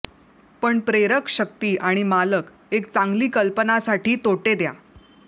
पण प्रेरक शक्ती आणि मालक एक चांगली कल्पना साठी तोटे द्या